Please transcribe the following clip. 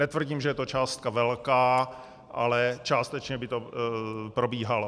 Netvrdím, že je to částka velká, ale částečně by to probíhalo.